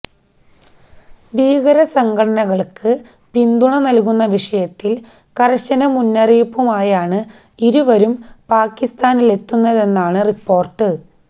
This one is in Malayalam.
ഭീകര സംഘടനകള്ക്ക് പിന്തുണ നല്കുന്ന വിഷയത്തില് കര്ശന മുന്നറിയിപ്പുമായാണ് ഇരുവരും പാക്കിസ്ഥാനിലെത്തുന്നതെന്നാണ് റിപ്പോര്ട്ട്